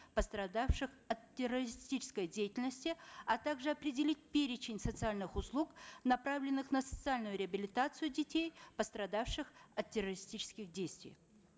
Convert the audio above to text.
пострадавших от террористической деятельности а также определить перечень социальных услуг направленных на социальную реабилитацию детей пострадавших от террористических действий